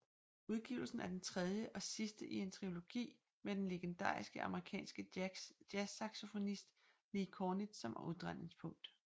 Udgivelsen er den tredje og sidste i en triologi med den legendariske amerikanske jazzsaxofonist Lee Konitz som omdrejningspunkt